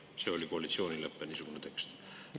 See oli koalitsioonilepe, niisugune tekst.